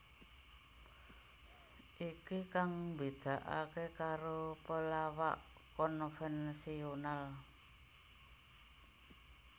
Iki kang mbedakaké karo pelawak konvensional